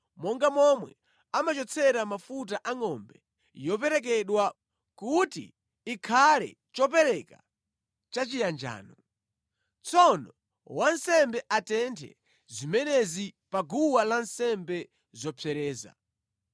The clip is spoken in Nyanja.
monga momwe amachotsera mafuta a ngʼombe yoperekedwa kuti ikhale chopereka chachiyanjano. Tsono wansembe atenthe zimenezi pa guwa lansembe zopsereza.